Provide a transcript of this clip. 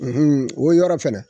o yɔrɔ fana